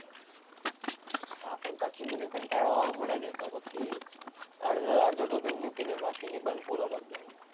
હા પણ પછી મને કંટાળો આવવા માટે ને તો પછી અડધો ટોપિક મૂકીને પછી નિબંધ પૂરો કરતો.